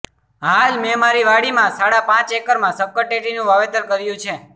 હાલ મેં મારી વાડીમાં સાડા પાચ એકરમાં શક્કરટેટીનું વાવતેર કર્યું છે